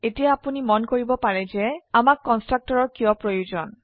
এতিয়া আপনি মন কৰিব পাৰে যে আমাক কসট্ৰাকটৰৰ কিয় প্ৰয়োজন